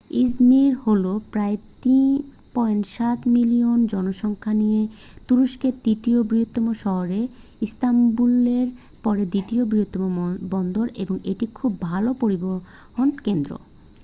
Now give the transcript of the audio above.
Izmir হলো প্রায় 3.7 million জনসংখ্যা নিয়ে তুরস্কের তৃতীয় বৃহত্তম শহর ইস্তাম্বুলের পরে দ্বিতীয় বৃহত্তম বন্দর এবং একটি খুব ভাল পরিবহন কেন্দ্র